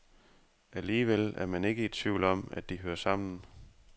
Alligevel er man ikke i tvivl om, at de hører sammen.